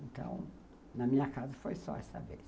Então, na minha casa foi só essa vez.